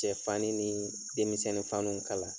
Cɛ fani nii denmisɛnni fanuw kala.